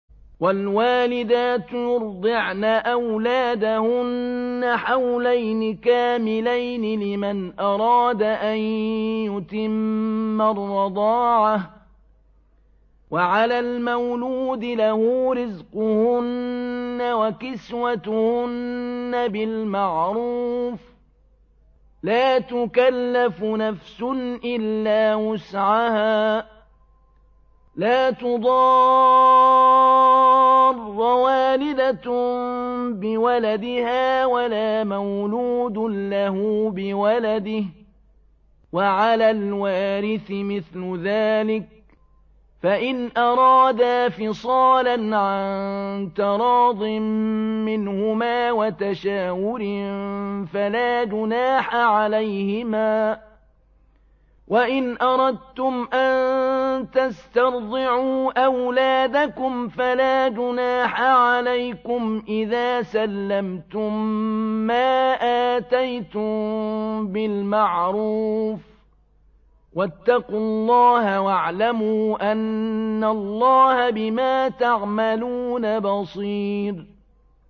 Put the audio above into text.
۞ وَالْوَالِدَاتُ يُرْضِعْنَ أَوْلَادَهُنَّ حَوْلَيْنِ كَامِلَيْنِ ۖ لِمَنْ أَرَادَ أَن يُتِمَّ الرَّضَاعَةَ ۚ وَعَلَى الْمَوْلُودِ لَهُ رِزْقُهُنَّ وَكِسْوَتُهُنَّ بِالْمَعْرُوفِ ۚ لَا تُكَلَّفُ نَفْسٌ إِلَّا وُسْعَهَا ۚ لَا تُضَارَّ وَالِدَةٌ بِوَلَدِهَا وَلَا مَوْلُودٌ لَّهُ بِوَلَدِهِ ۚ وَعَلَى الْوَارِثِ مِثْلُ ذَٰلِكَ ۗ فَإِنْ أَرَادَا فِصَالًا عَن تَرَاضٍ مِّنْهُمَا وَتَشَاوُرٍ فَلَا جُنَاحَ عَلَيْهِمَا ۗ وَإِنْ أَرَدتُّمْ أَن تَسْتَرْضِعُوا أَوْلَادَكُمْ فَلَا جُنَاحَ عَلَيْكُمْ إِذَا سَلَّمْتُم مَّا آتَيْتُم بِالْمَعْرُوفِ ۗ وَاتَّقُوا اللَّهَ وَاعْلَمُوا أَنَّ اللَّهَ بِمَا تَعْمَلُونَ بَصِيرٌ